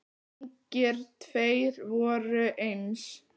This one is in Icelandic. Engir tveir voru eins.